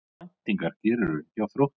Hvaða væntingar gerirðu hjá Þrótti?